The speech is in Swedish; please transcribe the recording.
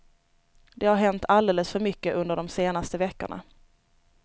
Det har hänt alldeles för mycket under de senaste veckorna.